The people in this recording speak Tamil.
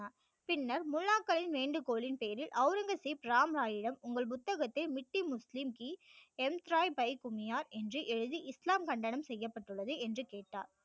பின்னர் முல்லாக்களை வேண்டுகோளின் பேரில் ஔரங்கசீப் ராம் ராய் யிடம் உங்கள் புத்தகத்தை மித்தி முஸ்லீம் துனியா என்று எழுதி இஸ்லாம் கண்டனம் செய்யபட்டுள்ளது என்று கேட்டார்